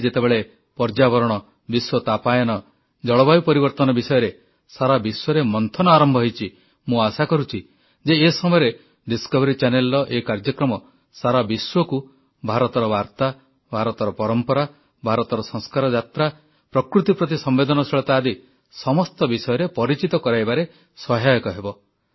ଆଜି ଯେତେବେଳେ ପର୍ଯ୍ୟାବରଣ ବିଶ୍ୱ ତାପାୟନ ଜଳବାୟୁ ପରିବର୍ତ୍ତନ ବିଷୟରେ ସାରା ବିଶ୍ୱରେ ମନ୍ଥନ ଆରମ୍ଭ ହୋଇଛି ମୁଁ ଆଶା କରୁଛି ଯେ ଏ ସମୟରେ ଡିସକଭରି ଚାନେଲର ଏ କାର୍ଯ୍ୟକ୍ରମ ସାରା ବିଶ୍ୱକୁ ଭାରତର ବାର୍ତ୍ତା ଭାରତର ପରମ୍ପରା ସଂସ୍କାର ଯାତ୍ରା ପ୍ରକୃତି ପ୍ରତି ସମ୍ବେଦନଶୀଳତା ଆଦି ସମସ୍ତ ବିଷୟରେ ପରିଚିତ କରାଇବାରେ ସହାୟକ ହେବ